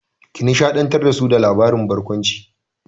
Ki nishaɗantar da su da labaran barkwanci!